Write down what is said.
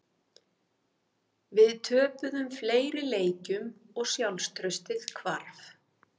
Við töpuðum fleiri leikjum og sjálfstraustið hvarf.